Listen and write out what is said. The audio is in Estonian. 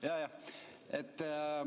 Jajah.